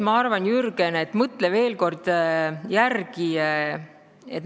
Ma arvan, Jürgen, et mõtle veel kord järele!